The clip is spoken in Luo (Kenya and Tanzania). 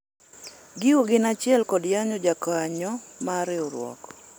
gigo gin achiel kod yanyo jokanyo mar riwruok